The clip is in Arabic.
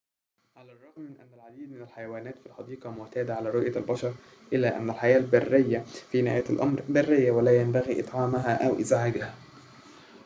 على الرغم من أن العديد من الحيوانات في الحديقة معتادة على رؤية البشر إلا أن الحياة البريّةَ في نهاية الأمر بريّةٌ ولا ينبغي إطعامها أو إزعاجها